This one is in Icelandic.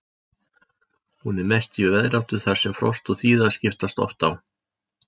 Hún er mest í veðráttu þar sem frost og þíða skiptast oft á.